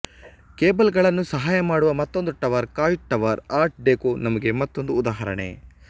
cable ಗಳನ್ನು ಸಹಾಯಮಾಡುವ ಮತ್ತೊಂದು tower Coit tower art deco ನಮೂಗೆ ಮತ್ತೊಂದು ಉದಾಹರಣೆ